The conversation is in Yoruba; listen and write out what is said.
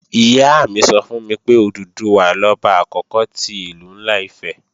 Ìyá mi sọ fún mi pé, Òdùduwà lọba àkókò ti Ìlú ńlá Ifẹ̀